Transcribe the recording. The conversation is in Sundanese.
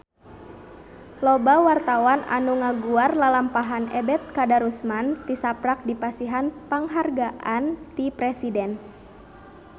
Loba wartawan anu ngaguar lalampahan Ebet Kadarusman tisaprak dipasihan panghargaan ti Presiden